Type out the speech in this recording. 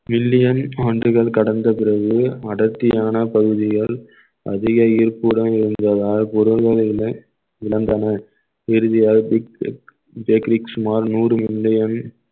billion ஆண்டுகள் கடந்த பிறகு அடர்த்தியான பகுதிகள் அதிக ஈர்ப்புடன் இருந்ததால் பொருள்கள் இல்லை இழந்தன இறுதியாக க்ரெக்ரிஸ் சுமார் நூறு மில்லியன்